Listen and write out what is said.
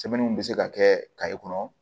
Sɛbɛnniw bɛ se ka kɛ kaye kɔnɔ